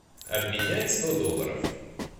обменять сто долларов